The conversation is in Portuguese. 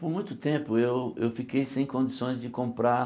Por muito tempo eu eu fiquei sem condições de comprar